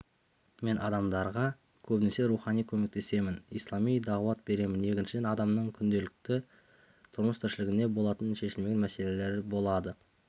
мен адамдарға көбінесе рухани көмектесемін ислами дағуат беремін екіншіден адамның күнделікті тұрмыс-тіршілігінде болатын шешілмеген мәселелері болады